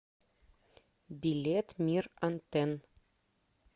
билет мир антенн